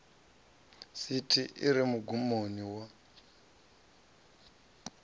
sithi i re mugumoni wa